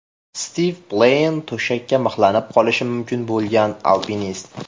Stiv Pleyn, to‘shakka mixlanib qolishi mumkin bo‘lgan alpinist.